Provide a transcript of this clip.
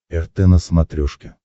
рт на смотрешке